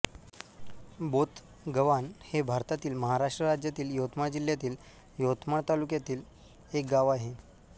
बोथगव्हाण हे भारतातील महाराष्ट्र राज्यातील यवतमाळ जिल्ह्यातील यवतमाळ तालुक्यातील एक गाव आहे